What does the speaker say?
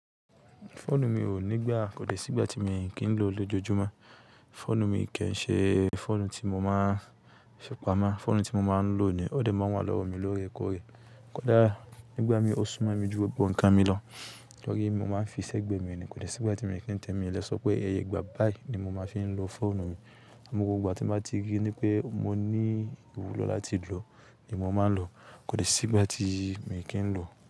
Fóònù mi ò ní gbà kó dè sígbati mi kì ń lò ó lójoojúmọ́. Fóònù mi kì ń ṣe fóònù tí mo máa ń ṣépamọ́. Fóònù tí mo máa ń lò ni ó dè máa ń wà lọ́wọ́ mi lóòrèkóòrè. Kódà nígbà mí ó súmọ̀ mi ju gbogbọ̀ nǹkan mi lọ, tórí mo máa ń fi ṣẹ́gbẹ́ mi ni. Kódè sígbà tí mi kì ń tẹ́ mi. Le sọ pé iyẹ ìgbà báyìí ni mo máa fi ń lo fóònù mi. Àmọ́ gbogbo ìgbà tí mo bá ti rí i ní pé mo ní ìwúlò láti lò ó ni mo máa ń lò ó. Kóde sígbà tí mi kì ń lò ó.